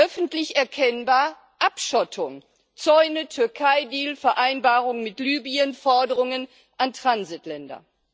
Öffentlich erkennbar Abschottung, Zäune, Türkei Deal, Vereinbarung mit Libyen, Forderungen an Transitländer.